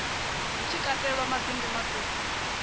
hut shi katelwa mabindu maṱuku